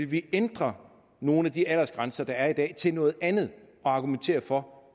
vil ændre nogle af de aldersgrænser der er i dag til noget andet og argumentere for